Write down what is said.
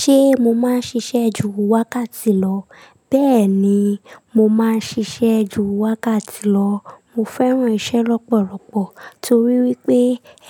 Ṣé mo máa ń ṣiṣẹ́ ju wákàtí lọ? Bẹ́ẹ̀ni, mo máa ń ṣiṣẹ́ ju wákàtí lọ. Mo fẹ́ràn iṣẹ́ lọ́pọ̀lọpọ̀ torí wípé